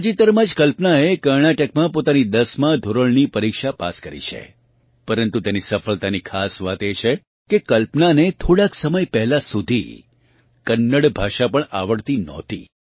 તાજેતરમાં જ કલ્પનાએ કર્ણાટકમાં પોતાની 10 માં ધોરણની પરીક્ષા પાસ કરી છે પરન્તુ તેની સફળતાની ખાસ વાત એ છે કે કલ્પનાને થોડાંક સમય પહેલાં સુધી કન્નડ ભાષા પણ આવડતી નહોતી